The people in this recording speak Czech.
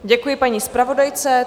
Děkuji paní zpravodajce.